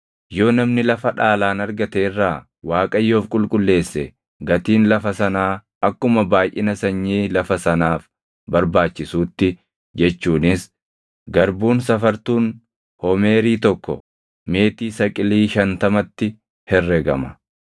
“ ‘Yoo namni lafa dhaalaan argate irraa Waaqayyoof qulqulleesse gatiin lafa sanaa akkuma baayʼina sanyii lafa sanaaf barbaachisuutti jechuunis garbuun safartuun homeerii tokko meetii saqilii shantamatti herregama.